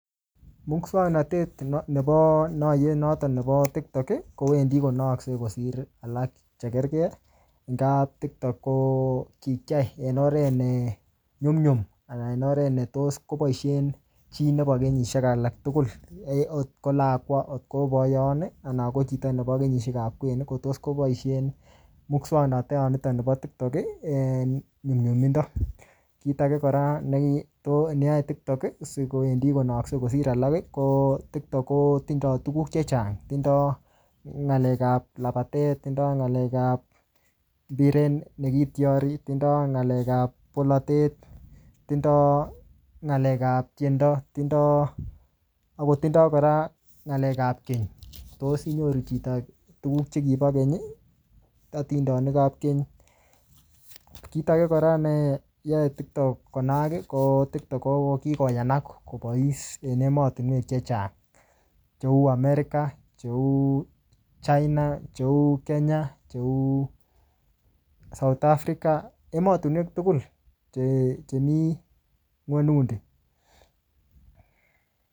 Muswagnatet nebo naiyet noton nebo tiktok, kowendi konaakse kosir alak che kergei. Ngaa tiktok ko kikiyai en oret ne nyumnyum, anan oret ne tos koboisien chi nebo kenyishiek alak tugul. Agot ko akwa, agot ko boiyot, anan ko chito nebo kenyisiekab kwen, ko tos koboisen muswagnatat nitok nebo tiktok eng nyumnyumindo. Kit age kora, ne to-ne yae tiktok sikowendi konaakse kosir alak, ko tiktok kotindoi tuguk chechang. Tindoi ngalek ap labatet, tindoi ng'alek ap mbiret ne kitiari, tindoi ng'alek ap polotet, tindoi ng'alek ap tiendo, tindoi, aotindoi kora ng'alek ap keny. Tos inyoru chito tuguk chekibo keny, atindonik ap keny. Kit age kora neyae tiktok konaak, ko tiktok ko kikoyanak kobois en emotunwek chechang cheu America, che China, cheu Kenya, cheu South Africa, emotunwek tugul che-chemii ng'unyut ni.